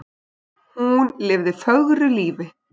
Hún lifði fögru lífi.